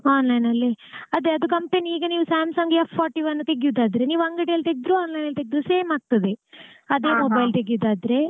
Onlineನಲ್ಲಿ ಅದೇ ಅದು company ಈಗ ನೀವು Samsung S forty-one ತೆಗಿಯೋದಾದ್ರೆ ನೀವ್ ಅಂಗಡೀಲ್ ತೆಗ್ದ್ರು online ನಲ್ಲಿ ತೆಗ್ದ್ರು same ಆಗ್ತದೆ. ಅದೇ mobile ತೆಗ್ಯೋದಾದ್ರೆ ಆದ್ರೆ.